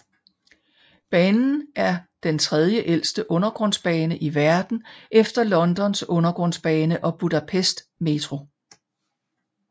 Banen er den tredjeældste undergrundsbane i verden efter Londons undergrundsbane og Budapest Metro